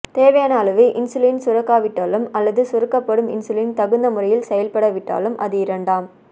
தேவையான அளவு இன்சுலின் சுரக்காவிட்டாலும் அல்லது சுரக்கப்படும் இன்சுலின் தகுந்த முறையில் செயல்பட விட்டாலும் அது இரண்டாம்